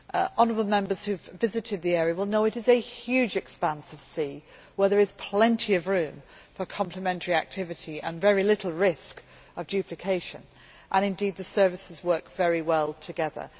Honourable Members who have visited the area will know it is a huge expanse of sea, where there is plenty of room for complementary activity and very little risk of duplication, and indeed the services work very well together.